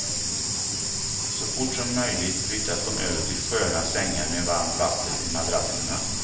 Så fort som möjligt flyttas de över till sköna sängar med varmt vatten i madrasserna.